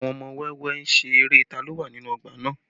Àwọn ọmọ wẹ́wẹ́ ń ṣeré tá ló wà nínú ọgbà náà